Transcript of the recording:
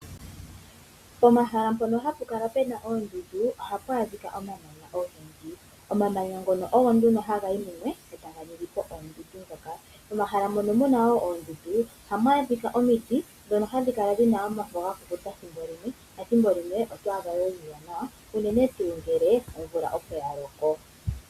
Pomahala mpono hapu kala pena oondundu ohapu adhika omamanya ogendji. Omamanya ngono ogo nduno haga yi mumwe etaga ningi po oondundu ndhoka. Momahala mono muna woo oondundu oha mu adhika omiti ndhono hadhi kala dhina omafo gakukuta thimbo limwe nethimbo limwe oto adha ga ziza nawa unene tuu ngele omvula opo yaloko.